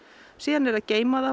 síðan er að geyma það